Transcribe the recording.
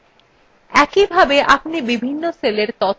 আবার পূর্বাবস্থায় ফিরে যাওয়া যাক